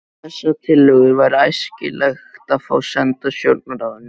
Þessar tillögur væri æskilegt að fá sendar stjórnarráðinu.